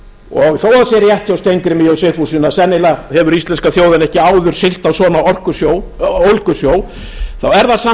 og þó að það sé rétt hjá steingrími j sigfússon að sennilega hefur íslenska þjóðin ekki áður siglt á svona ólgusjó er það samt